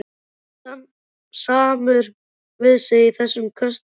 Hann er samur við sig í þessum köstum!